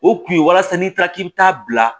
O kun ye walasa n'i taara k'i bi taa bila